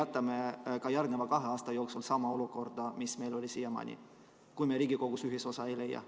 Või meil jääb ka järgmisel kahel aastal püsima sama olukord, mis meil on siiamaani, sest vahest me ei leia Riigikogus ühisosa?